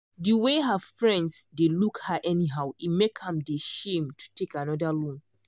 de way her friends dey look her anyhow e make am dey shame to take another loan.